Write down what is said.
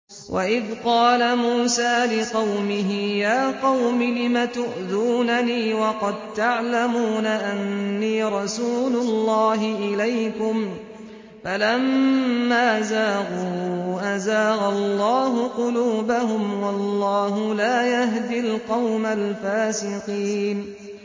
وَإِذْ قَالَ مُوسَىٰ لِقَوْمِهِ يَا قَوْمِ لِمَ تُؤْذُونَنِي وَقَد تَّعْلَمُونَ أَنِّي رَسُولُ اللَّهِ إِلَيْكُمْ ۖ فَلَمَّا زَاغُوا أَزَاغَ اللَّهُ قُلُوبَهُمْ ۚ وَاللَّهُ لَا يَهْدِي الْقَوْمَ الْفَاسِقِينَ